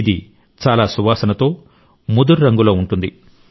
ఇది చాలా సువాసనతో ముదురు రంగులో ఉంటుంది